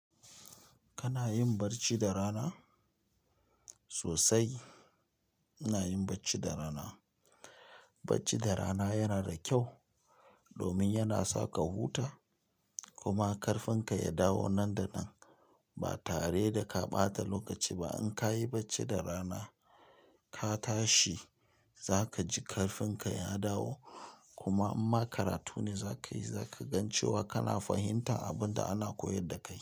Kana yin barci da rana? Sosai, ina yin bacci da rana. Bacci da rana yana da kyau domin yana sa ka huta kuma karfinka ya dawo nan da nan. Ba tare da ka ɓata lokaci ba in ka yi bacci da rana ka tashi za ka ji ƙarfinka ya dawo kuma imma karatu ne za ka yi, za ka gan cewa kana fahimtar abun da ana koyar da kai.